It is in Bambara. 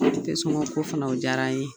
sɔŋɔ ko fana o diyar'an ye.